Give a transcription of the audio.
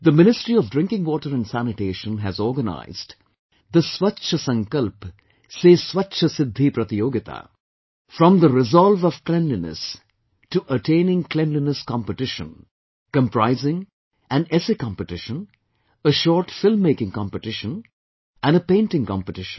The Ministry of Drinking Water and Sanitation has organized, the Swachch Sankalp se Swachcha Siddhi Pratiyogita, From the resolve of Cleanliness to attaining Cleanliness Competition comprising an essay competition, a short film making competition and a painting competition